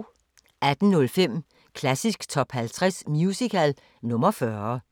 18:05: Klassisk Top 50 Musical – nr. 40